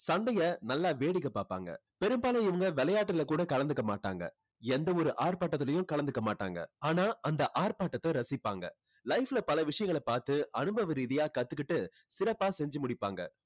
சண்டைய நல்லா வேடிக்கை பாப்பாங்க. பெரும்பாலும் இவங்க விளையாட்டுல கூட கலந்துக்க மாட்டாங்க. எந்த ஒரு ஆர்ப்பாட்டத்திலயும் கலந்துக்க மாட்டாங்க. ஆனா அந்த ஆர்ப்பாட்டத்தை ரசிப்பாங்க. life ல பல விஷயங்களை பார்த்து அனுபவ ரீதியா கத்துக்கிட்டு சிறப்பா செஞ்சு முடிப்பாங்க